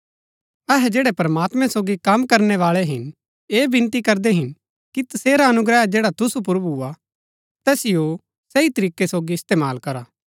अहै जैड़ै प्रमात्मैं सोगी कम करणै बाळै हिन ऐह विनती करदै हिन कि तसेरा अनुग्रह जैड़ा तुसु पुर भूआ तैतिओ सही तरीकै सोगी इस्तेमाल करा